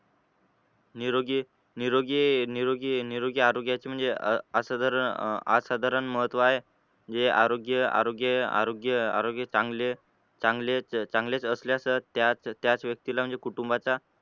निरोगी निरोगी निरोगी पण आरोग्याचे म्हणजे असं जर अं आ आसाधारण महत्त्व आहे म्हणजे आरोग्य आरोग्य आरोग्य आरोग्य चांगले चांगले चांगलेच असल्यास त्याच त्याच व्यक्तीला म्हणजे कुटुंबाचा,